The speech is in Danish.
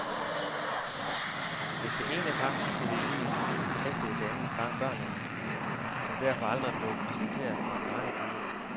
Hvis det ene par skulle i byen, passede det andet par børnene, som derfor aldrig blev præsenteret for en barnepige.